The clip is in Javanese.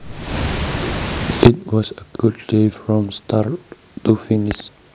It was a good day from start to finish